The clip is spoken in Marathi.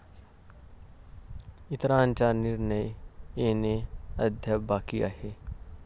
इतरांचा निर्णय येणे अद्याप बाकी आहे.